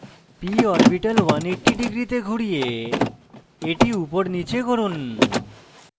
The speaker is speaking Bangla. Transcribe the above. p orbital 180 degree ঘুরিয়ে এটি উপর নীচে করুন